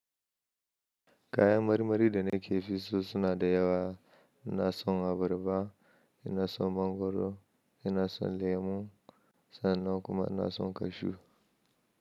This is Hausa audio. Kayan marmari da ne ke fi so suna da yawa, ina son abarba, ina son mangwaro, ina son lemu sannan kuma ina son kashu.